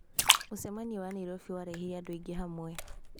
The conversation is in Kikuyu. Mũcemanio wa Nairobi warehire andũ aingĩ hamwe.